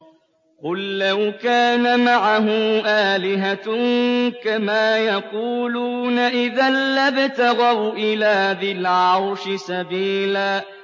قُل لَّوْ كَانَ مَعَهُ آلِهَةٌ كَمَا يَقُولُونَ إِذًا لَّابْتَغَوْا إِلَىٰ ذِي الْعَرْشِ سَبِيلًا